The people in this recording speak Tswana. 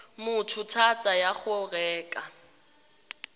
motho thata ya go reka